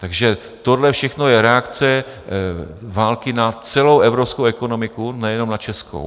Takže tohle všechno je reakce války na celou evropskou ekonomiku, nejenom na českou.